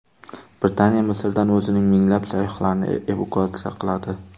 Britaniya Misrdan o‘zining minglab sayyohlarini evakuatsiya qiladi.